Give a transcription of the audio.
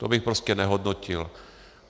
To bych prostě nehodnotil.